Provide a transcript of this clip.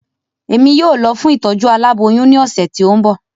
Èmí yóò lọ fún Ìtọ́jú aláboyún ni ọsẹ ti o n bọ